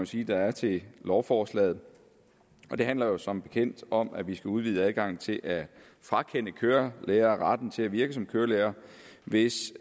sige der er til lovforslaget det handler som bekendt om at vi skal udvide adgangen til at frakende en kørelærer retten til at virke som kørelærer hvis